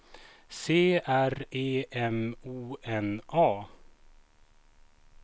C R E M O N A